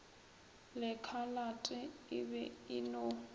lekhalate e be e no